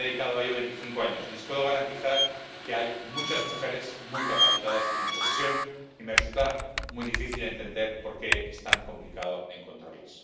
Me he dedicado a ello veinticinco años y les puedo garantizar que hay muchas mujeres muy capacitadas en mi profesión, y me resulta muy difícil entender por qué es tan complicado encontrarlas.